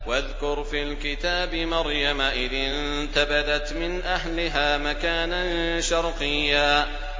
وَاذْكُرْ فِي الْكِتَابِ مَرْيَمَ إِذِ انتَبَذَتْ مِنْ أَهْلِهَا مَكَانًا شَرْقِيًّا